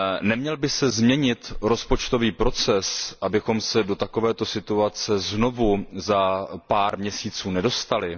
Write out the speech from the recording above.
Neměl by se změnit rozpočtový proces, abychom se do takovéto situace znovu za pár měsíců nedostali?